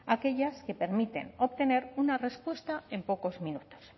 aquellas que permiten obtener una respuesta en pocos minutos